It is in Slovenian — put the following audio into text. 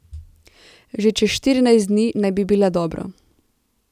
Že čez štirinajst dni naj bi bila dobro.